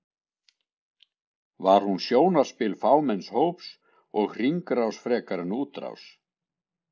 Var hún sjónarspil fámenns hóps og hringrás frekar en útrás?